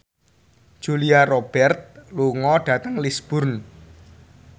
Julia Robert lunga dhateng Lisburn